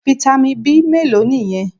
Fitamin B mélòó nìyẹn?